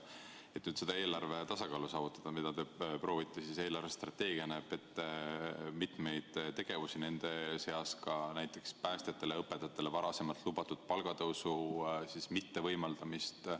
Selleks, et saavutada eelarve tasakaalu, nagu te proovite, näeb eelarvestrateegia ette mitmeid tegevusi, nende seas näiteks päästjatele ja õpetajatele varasemalt lubatud palgatõusu mittevõimaldamist.